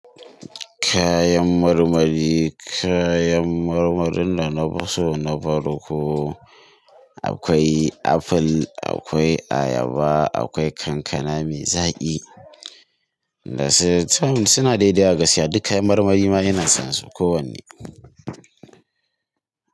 Kayan marmari, kayan marmarin da na fi so na farko. Akwai aful, akwai ayaba, akwai kankana me zaƙi, dasu ga sunan dai gaskiya duk kayan marmari ma ina son su kowanne.